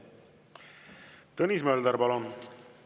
Tõnis Mölder, palun!